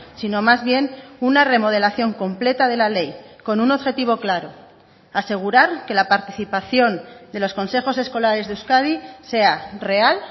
sino más bien una remodelación completa de la ley con un objetivo claro asegurar que la participación de los consejos escolares de euskadi sea real